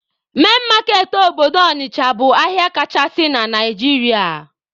Main market obodo Ọnịcha bụ ahịa kachasị na Naijiria.